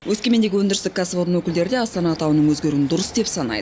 өскемендегі өндірістік кәсіпорын өкілдері де астана атауының өзгеруін дұрыс деп санайды